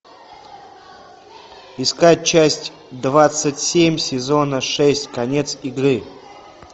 искать часть двадцать семь сезона шесть конец игры